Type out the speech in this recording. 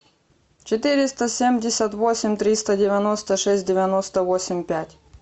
четыреста семьдесят восемь триста девяносто шесть девяносто восемь пять